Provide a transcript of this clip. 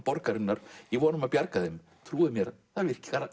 borgarinnar í von um bjarga þeim trúið mér það virkar